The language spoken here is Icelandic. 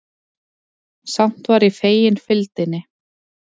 Samt var ég fegin fylgdinni.